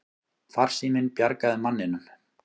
Farsíminn bjargaði manninum